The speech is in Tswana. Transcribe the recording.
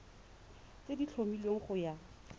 tse di tlhomilweng go ya